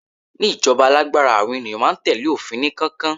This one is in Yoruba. ní ijoba alágbára, àwọn ènìyàn ma n tẹle ofin ni kankan